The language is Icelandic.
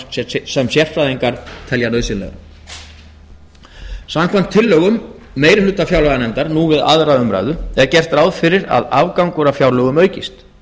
fjárlagaafgangs sem sérfræðingar telja nauðsynlegan samkvæmt tillögum meirihluta fjárlaganefndar nú við aðra umræðu er gert ráð fyrir að afgangur af fjárlögum aukist